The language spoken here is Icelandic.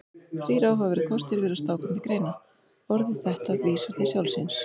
Þrír áhugaverðir kostir virðast þá koma til greina: Orðið þetta vísar til sjálfs sín.